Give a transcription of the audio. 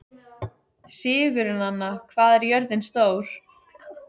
Sigurnanna, hvað er jörðin stór?